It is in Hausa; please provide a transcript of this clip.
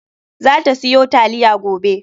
Za ta siyo taliya gobe.